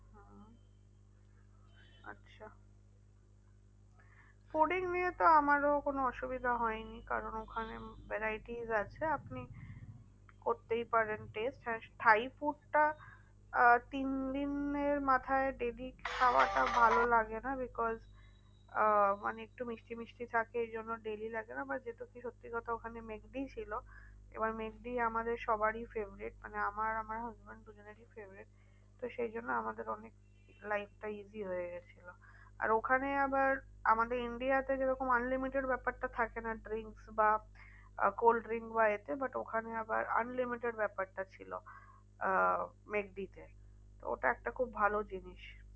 আর ওখানে আবার আমাদের India তে যেরকম unlimited ব্যাপারটা থাকে না drinks বা cold drinks বা এতে but ওখানে আবার unlimited ব্যাপারটা ছিল। আহ ম্যাকডি তে ওটা একটা খুব ভালো জিনিস।